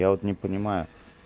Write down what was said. я вот не понимаю